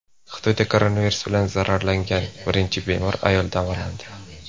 Xitoyda koronavirus bilan zararlangan birinchi bemor ayol davolandi.